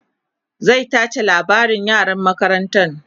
zai tace labarin yaran makarantan